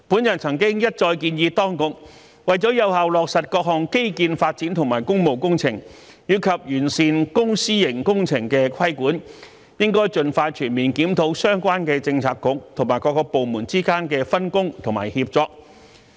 我曾一再建議當局，為了有效落實各項基建發展及工務工程，以及完善公、私營工程的規管，應盡快全面檢討相關政策局和各部門之間的分工和協作。